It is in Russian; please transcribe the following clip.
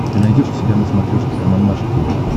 ты найдешь у себя на смотрешке канал наше тв